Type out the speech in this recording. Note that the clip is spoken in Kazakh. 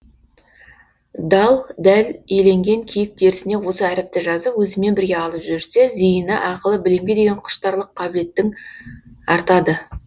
дал дәл иленген киік терісіне осы әріпті жазып өзімен бірге алып жүрсе зейіні ақылы білімге деген құштарлық қабілеттің артады